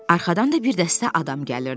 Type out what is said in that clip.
Arxadan da bir dəstə adam gəlirdi.